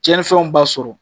Cɛnfɛnw b'a sɔrɔ.